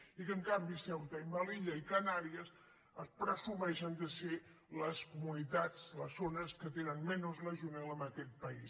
i que en canvi ceuta i melilla i canàries pre·sumeixen de ser les comunitats les zones que tenen menys legionel·la d’aquest país